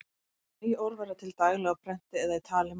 Ný orð verða til daglega á prenti eða í tali manna.